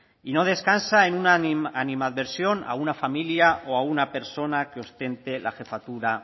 y no descansa en una animadversión a una familia o a una persona que ostente la jefatura